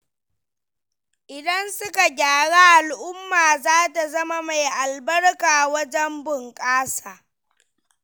Idan suka gyaru al'umma za ta zama mai albarka wajen bunƙasa.